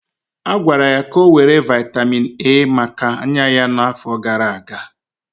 A gwara ya ka ọ were vitamin A maka anya ya n'afọ gara aga.